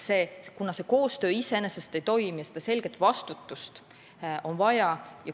Koostöö iseenesest praegu ei toimi ja selget vastutajat on vaja.